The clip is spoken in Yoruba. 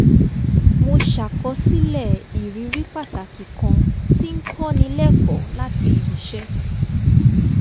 mo ṣàkọsílẹ̀ ìrírí pàtàkì kan tí ń kọ́ ni lẹ́kọ̀ọ́ láti ibi iṣẹ